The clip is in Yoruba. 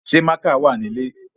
Ṣé mákà wà nílè?